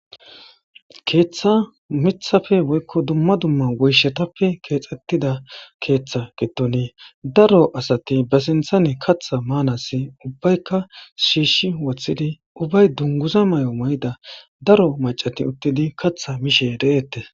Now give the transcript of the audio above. Keeththa mithafe woykko dumma dumma woyshetappe keexxettida keeththa gettone daro asati ba sinthane katha maanassi ubbaykka shiishi woththidi ubbay dunguza may7o may7ida daro macati uttidi katha mishe de7eette.